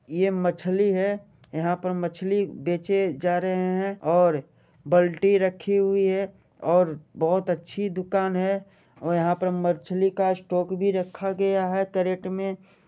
यह मछली है यहाँ पर मछली बेचे जा रहे है और बाल्टी रखी हुए है और बहुत अच्छी दुकान है और यहाँ पर मछली का स्टॉक भी रखा गया है केरेट में।